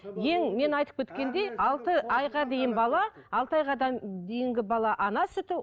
алты айға дейін бала алты дейінгі бала ана сүті